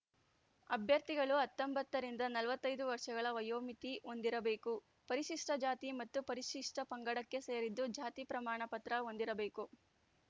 ಅಭ್ಯರ್ಥಿಗಳು ಹತ್ತೊಂಬತ್ತ ರಿಂದ ನಲವತ್ತ್ ಐದು ವರ್ಷಗಳ ವಯೋಮಿತಿ ಹೊಂದಿರಬೇಕು ಪರಿಶಿಷ್ಟಜಾತಿ ಮತ್ತು ಪರಿಶಿಷ್ಟಪಂಗಡಕ್ಕೆ ಸೇರಿದ್ದು ಜಾತಿ ಪ್ರಮಾಣ ಪತ್ರ ಹೊಂದಿರಬೇಕು